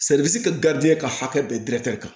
kɛ ka hakɛ bɛɛ kan